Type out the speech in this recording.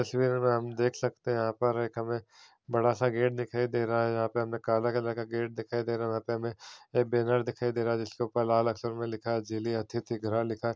तस्वीर में हम देख सकते है यहां पर एक हमें बड़ा सा गेट दिखाई दे रहा है यहाँ पे हमें काला कलर का गेट दिखाई दे रहा है और यहां पर हमें एक बैनर दिखाई दे रहा है जिसके ऊपर लाल अक्षर से लिखा है जिले अतिथि गृह लिखा है।